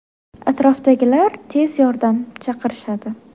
Atrofdagilar tez yordam chaqirishadi.